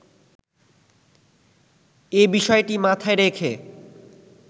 এ বিষয়টি মাথায় রেখে